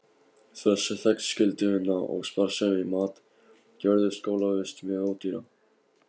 Þessi þegnskylduvinna og sparsemi í mat gerðu skólavist mjög ódýra.